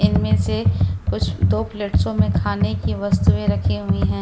इनमें से कुछ दो प्लेट्सो में खाने की वस्तुएं रखी हुई है।